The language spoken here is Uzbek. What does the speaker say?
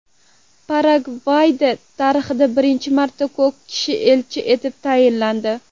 Paragvayda tarixda birinchi marta ko‘r kishi elchi etib tayinlandi.